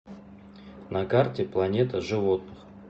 на карте планета животных